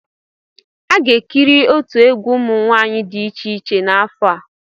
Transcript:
A ga-ekiri otu egwu ụmụ nwanyị dị iche iche n'afọ a.